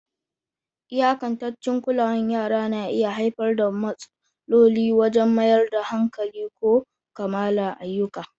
Iyakantaccen kulawar yara na iya haifar da matsaloli wajen mayar da hankali ko kammala ayyuka.